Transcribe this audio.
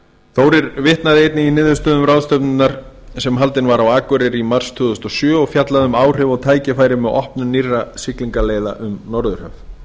þórir vitnaði einnig í niðurstöðu ráðstefnunnar sem haldin var á akureyri í mars tvö þúsund og sjö og fjallaði um áhrif og tækifæri með opnun nýrra siglingaleiða um norðurhöf